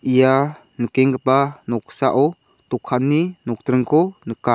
ia nikenggipa noksao dokanni nokdringko nika.